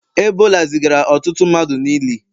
Ebola zigara ọtụtụ mmadụ n'ili